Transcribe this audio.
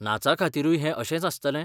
नाचाखातीरूय हें अशेंच आसतलें?